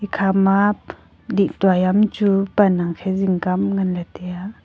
ekha ma lihdua hi ya ham chu pan khe jing ka am chu ngan ley ya.